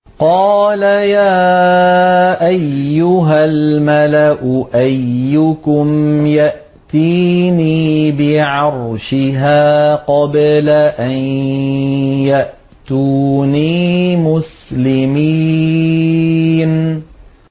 قَالَ يَا أَيُّهَا الْمَلَأُ أَيُّكُمْ يَأْتِينِي بِعَرْشِهَا قَبْلَ أَن يَأْتُونِي مُسْلِمِينَ